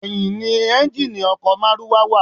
Ẹ̀yìn ni ẹ́ńjíìnnì ọkọ̀ márúwá wa.